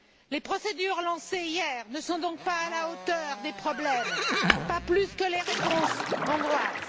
Les procédures lancées hier ne sont donc pas à la hauteur des problèmes, pas plus que les réponses hongroises.